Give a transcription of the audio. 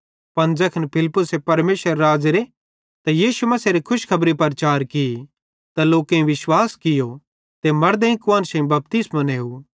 पन ज़ैखन फिलिप्पुसे परमेशरेरे राज़्ज़ेरे ते यीशु मसीहेरी खुशखबरी प्रचार की त लोकेईं विश्वास कियो ते मड़देइं कुआन्शेईं बपतिस्मो नेव